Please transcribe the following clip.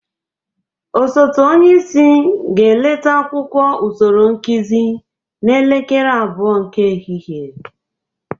Osote onyeisi ga-eleta akwụkwọ usoro nkụzị n'elekere abụọ nke ehihe.